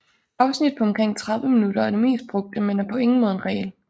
Afsnit på omkring 30 minutter er det mest brugte men er på ingen måde en regel